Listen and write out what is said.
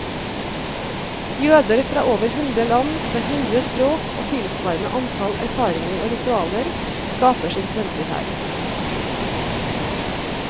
Jøder fra over hundre land, med hundre språk og tilsvarende antall erfaringer og ritualer, skaper sin fremtid her.